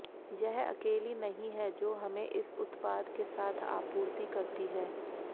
यह अकेली नहीं है जो हमें इस उत्पाद के साथ आपूर्ति करती है